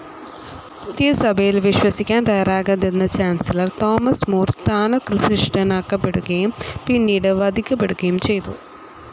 പുതിയ സഭയിൽ വിശ്വസിക്കാൻ തയ്യാറാകാതിരുന്ന ചാൻസലർ തോമസ് മൂർ സ്ഥാനഭൃഷ്ടനാക്കപ്പെടുകയും പിന്നീട് വധിക്കപ്പെടുകയും ചെയ്തു.